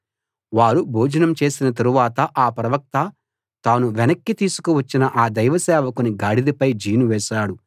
వారు భోజనం చేసిన తరువాత ఆ ప్రవక్త తాను వెనక్కి తీసుకు వచ్చిన ఆ దైవసేవకుని గాడిదపై జీను వేశాడు